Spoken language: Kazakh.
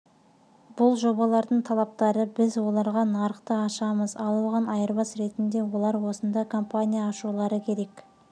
бұл жобалардың талаптары біз оларға нарықты ашамыз ал оған айырбас ретінде олар осында компания ашулары керек